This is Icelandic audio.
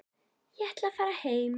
Ég ætla að fara heim.